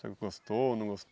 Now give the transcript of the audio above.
O senhor gostou, não